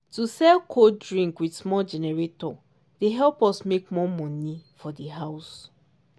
to sell cold drink with small generator dey help us make more moni for di house.